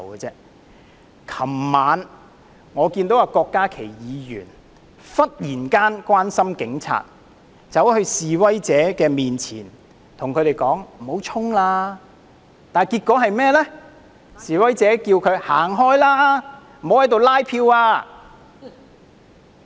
昨晚，我看到郭家麒議員忽然關心警察，走到示威者面前叫他們不要衝，結果被示威者叫他"走開，不要在此拉票"。